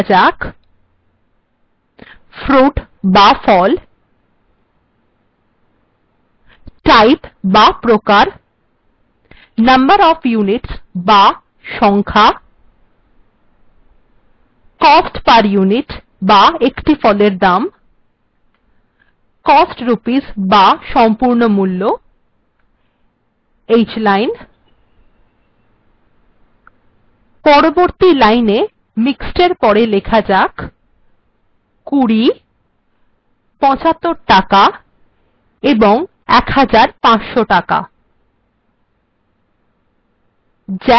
এখানে লেখা যাক : fruit বা ফল type বা প্রকার number of units বা সংখ্যা cost per unit বা একটি ফলের দাম cost rupees বা সম্পূর্ণ মূল্য hline পরবর্তী লাইনএ ইক্ষেদএর পড়ে লেখা যাক ২০ ৭৫ টাকা ১৫০০ টাকা